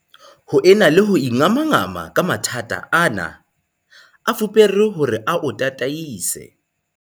Ho ena le ho ingamangama ka mathata ana, a fupare hore a o tataise.